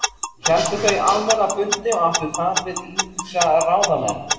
Héldu þau almenna fundi og áttu tal við ýmsa ráðamenn.